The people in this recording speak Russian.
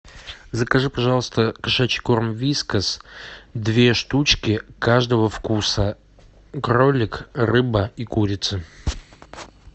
закажи пожалуйста кошачий корм вискас две штучки каждого вкуса кролик рыба и курица